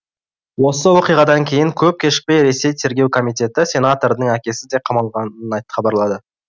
осы оқиғадан кейін көп кешікпей ресей тергеу комитеті сенатордың әкесі де қамалғанын хабарлады